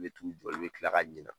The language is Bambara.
I bɛ t'u jɔ , I bɛ kila ka ɲinɛ